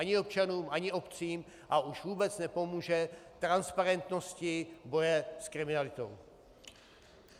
Ani občanům ani obcím a už vůbec nepomůže transparentnosti boje s kriminalitou.